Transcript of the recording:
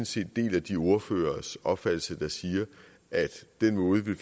set deler de ordføreres opfattelse der siger at den måde vi